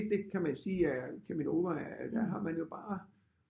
Det kan man sige er Cheminova at der har man jo bare